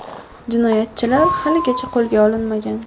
Jinoyatchilar haligacha qo‘lga olinmagan.